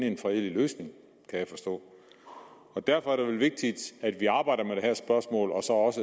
en fredelig løsning kan jeg forstå og derfor er det vel vigtigt at vi arbejder med det her spørgsmål og så også